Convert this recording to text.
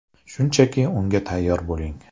Shunchaki unga tayyor bo‘ling.